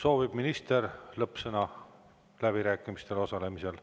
Kas minister soovib lõppsõna läbirääkimistel?